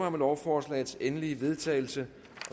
om lovforslagets endelige vedtagelse